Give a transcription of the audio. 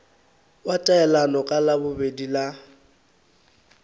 wa taelano ka labobedi la